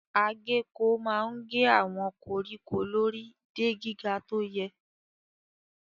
Agéko máa ń gé àwọn koríko lórí de gíga tó yẹ.